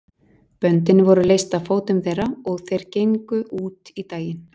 Böndin voru leyst af fótum þeirra og þeir gengu út í daginn.